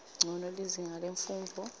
ncono lizinga lemfundvo